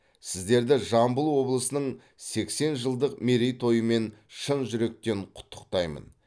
сіздерді жамбыл облысының сексен жылдық мерейтойымен шын жүректен құттықтаймын